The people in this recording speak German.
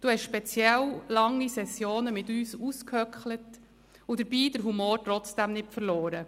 Sie haben besonders lange Sessionen mit uns ausgesessen und dabei den Humor trotzdem nicht verloren.